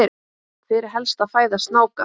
hver er helsta fæða snáka